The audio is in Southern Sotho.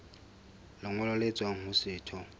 lengolo le tswang ho setho